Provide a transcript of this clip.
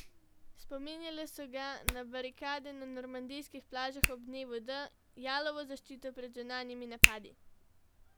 Spominjale so ga na barikade na normandijskih plažah ob dnevu D, jalovo zaščito pred zunanjimi napadi.